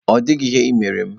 Ọ dịghị ihe ị mere m.